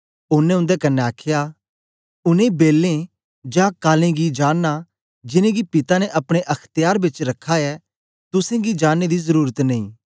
ओनें उंदे कन्ने आखया उनै बेले जां कालें गी जानना जिनेंगी पिता ने अपने अख्त्यार बेच रखा ऐ तुसेंगी जानने दी जरुरत नेई